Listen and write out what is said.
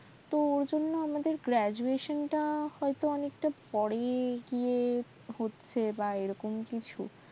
তো আমাদের টা অনেকটা পরে গিয়ে হচ্ছে হয়তো